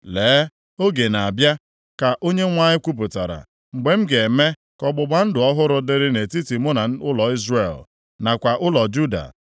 “Lee, oge na-abịa,” ka Onyenwe anyị kwupụtara, “mgbe m ga-eme ka ọgbụgba ndụ ọhụrụ dịrị nʼetiti mụ na ụlọ Izrel, nakwa ụlọ Juda.